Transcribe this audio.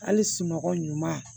Hali sunɔgɔ ɲuman